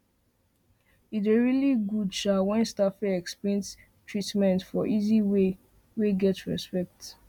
e dey really good um when staff fit explain treatment for easy um way wey get respect